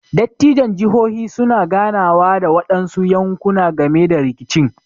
Dattijon jihohi su na ganawa da waɗansu yanƙuna game da riƙicin.